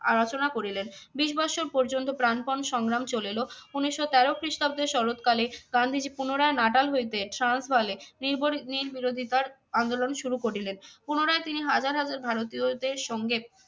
আলোচনা করিলেন। বিশ বৎসর পর্যন্ত প্রাণপণ সংগ্রাম চলিল। উনিশশো তেরো খ্রিস্টাব্দে শরৎকালে গান্ধীজী পুনরায় নাটাল হইতে নির্বোরি~ নির্বিরোধিতার আন্দোলন শুরু করিলেন। পুনরায় তিনি হাজার হাজার ভারতীয়দের সঙ্গে